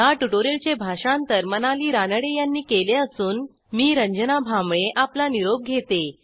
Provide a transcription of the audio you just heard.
ह्या ट्युटोरियलचे भाषांतर मनाली रानडे यांनी केले असून मी रंजना भांबळे आपला निरोप घेते